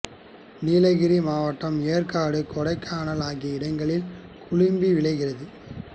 நீலகிரி மாவட்டம் ஏற்காடு கொடைக்கானல் ஆகிய இடங்களில் குழம்பி விளைகிறது